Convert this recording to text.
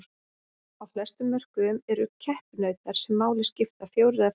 Á flestum mörkuðum eru keppinautar sem máli skipta fjórir eða færri.